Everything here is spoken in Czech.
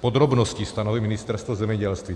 podrobnosti stanoví Ministerstvo zemědělství.